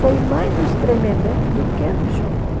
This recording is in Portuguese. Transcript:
Foi mais nos Tremembé do que nos Chocó.